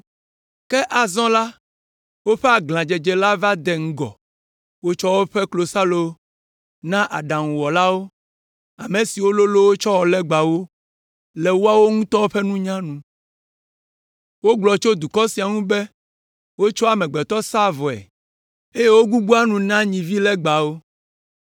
“Ke azɔ la, woƒe aglãdzedze la va de ŋgɔ. Wotsɔ woƒe klosalo na aɖaŋuwɔlawo, ame siwo lolõ wo tsɔ wɔ legbawo le woawo ŋutɔ ƒe nunya nu. Wogblɔ tso dukɔ sia ŋu be wotsɔa amegbetɔ saa vɔe, eye wogbugbɔa nu na nyivilegbawo.